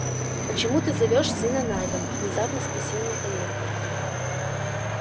почему ты зовёшь сына найдом внезапно спросил михаил